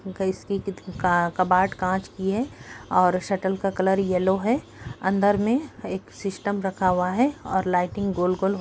cupboard कांच की है और शटर का कलर येल्लो है अन्दर में एक सिस्टम रखा हुआ है और लाइटिंग गोल गोल --